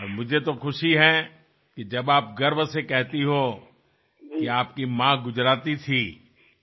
আমি আরও খুশী হই যখন আপনি গর্ব করে বলেন যে আপনার মা গুজরাটি ছিলেন